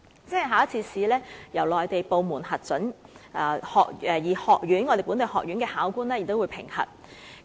只需通過一次考試，由內地部門核准人士及本地學院考官同時進行評核。